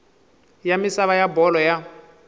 ya misava ya bolo ya